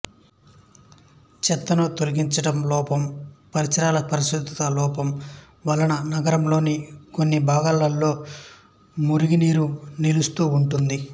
చెత్తను తొలగించడం లోపం పరిసరాల పరిశుభ్రత లోపం వలన నగరంలోని కొన్ని భాగాలలో మురుగు నీరు నిలుస్తూ ఉంటుంది